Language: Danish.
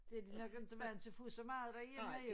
Det de nok ikke vandt til at få så meget derhjemme jo